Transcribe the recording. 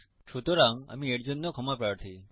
সুতরাং আমি এর জন্য ক্ষমাপ্রার্থী